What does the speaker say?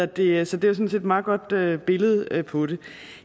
det er sådan set et meget godt billede billede på det